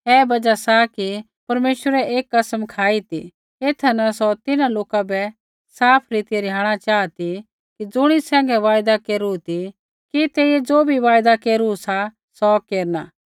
ऐ बजहा सा कि परमेश्वरै एक कसम खाई ती एथा न सौ तिन्हां लोका बै साफ रीतिऐ रिहाणा चाहा ती ज़ुणी सैंघै वायदा केरू ती कि तेइयै ज़ो बी वायदा केरु सा सौ केरना